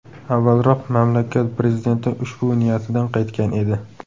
Avvalroq mamlakat prezidenti ushbu niyatidan qaytgan edi.